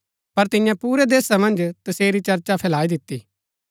पर तिन्यै पुरै देशा मन्ज तसेरी चर्चा फैलाई दिती